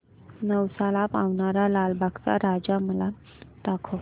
नवसाला पावणारा लालबागचा राजा मला दाखव